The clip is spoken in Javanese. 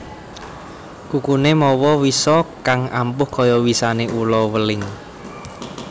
Kukuné mawa wisa kang ampuh kaya wisané ula weling